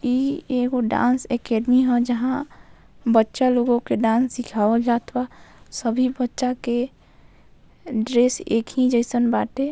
ई ऐगो dance academy हा जहां बच्चा लोगों के डांस सिखायवाल जात बा सभी बच्चा के ड्रेस एक ही जैसन बाटे।